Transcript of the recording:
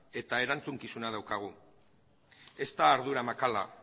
eta erantzukizun daukagu ez da ardura makala